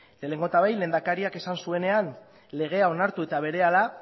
lehenengo eta behin lehendakariak esan zuenean legea onartu eta berehala